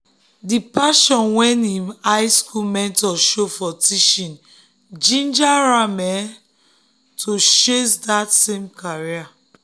the passion wey him high school mentor show for teaching ginger am to chase um that same career.